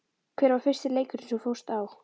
Hver var fyrsti leikurinn sem þú fórst á?